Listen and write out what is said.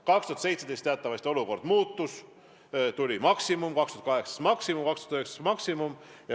2017 teatavasti olukord muutus, tuli maksimum, 2018 tuli maksimum ja 2019 tuli maksimum.